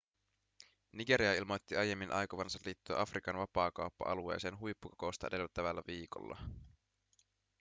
nigeria ilmoitti aiemmin aikovansa liittyä afrikan vapaakauppa-alueeseen huippukokousta edeltävällä viikolla